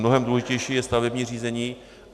Mnohem důležitější je stavební řízení.